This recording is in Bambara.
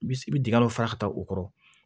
Bi i bi dingɛ dɔ fara ka taa o kɔrɔ